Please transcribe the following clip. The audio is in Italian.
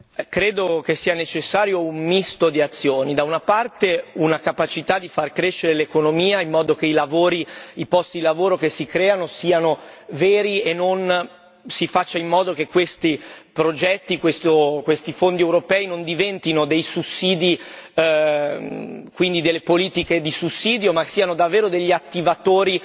Credo che sia necessario un misto di azioni da una parte, una capacità di far crescere l'economia in modo che i lavori, i posti lavoro che si creano siano veri e si faccia in modo che questi progetti, questi fondi europei, non diventino dei sussidi, quindi delle politiche di sussidio, ma siano davvero degli attivatori